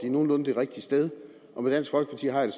nogenlunde det rigtige sted og med dansk folkeparti har jeg